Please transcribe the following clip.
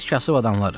Biz kasıb adamlarıq.